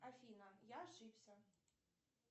афина я ошибся